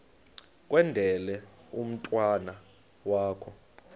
kwendele umntwana wakho